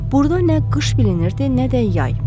Burda nə qış bilinirdi, nə də yay.